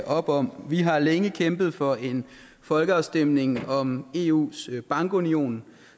op om vi har længe kæmpet for en folkeafstemning om eus bankunion